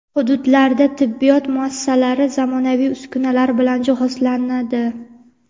Hududlarda tibbiyot muassasalari zamonaviy uskunalar bilan jihozlanadi.